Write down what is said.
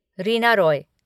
Reena Roy